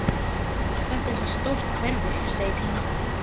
Þetta er svo stórt hverfi, segir Pína.